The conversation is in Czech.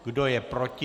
Kdo je proti?